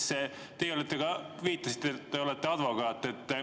" Te viitasite, et olete advokaat.